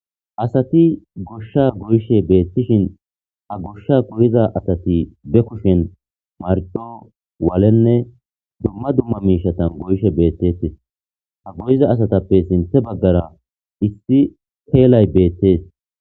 asati goshsha goyishe beettishin ha goshsha goyiza asati be kushen mardo waalenne dumma dumma miishatan goyishe beettetes ha goyiza asatappe sinthe baggara issi peelay beettees